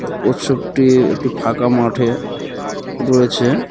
তা কচ্ছপটি একটি ফাঁকা মাঠে রয়েছে .